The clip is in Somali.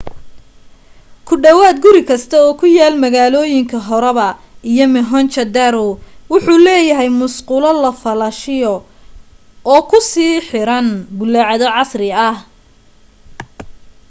ku dhawaad guri kasta oo ku yaal magaalooyinka harappa iyo mohenjo-daro wuxu leeyahay musqulo la falaashiyo oo ku sii xiran bullaacado casri ah